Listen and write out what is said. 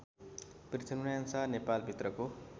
Prithvinarayan Shah नेपालभित्रको